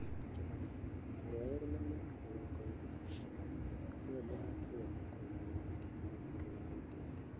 Kĩmani, ũrĩa ũrĩ na mĩaka mĩrongo ĩrĩ na kenda, nĩwe mũthaki ũrĩa mũkũrũ mũno wa timu ya Thika united.